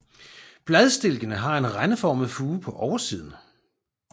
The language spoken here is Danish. Bladstilkene har en rendeformet fure på oversiden